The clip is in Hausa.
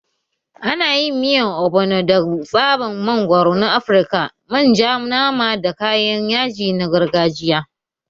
Ana yin miyar Ogbono da tsaban mangwaro na Afirka, manja, nama, da kayan yaji na gargajiya.